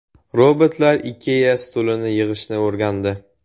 Robotlar Ikea stulini yig‘ishni o‘rgandi .